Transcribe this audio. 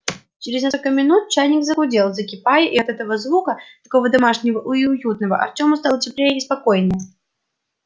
через несколько минут чайник загудел закипая и от этого звука такого домашнего и уютного артему стало теплее и спокойнее